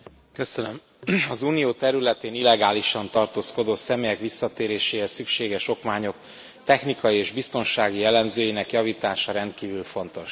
Elnök Úr, az Unió területén illegálisan tartózkodó személyek visszatéréséhez szükséges okmányok technikai és biztonsági jellemzőinek javítása rendkívül fontos.